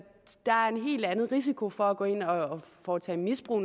risikoen for at gå ind og foretage misbrug